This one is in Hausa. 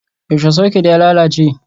Yaushe soket ya lalace?